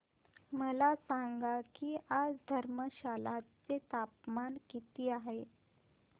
मला सांगा की आज धर्मशाला चे तापमान किती आहे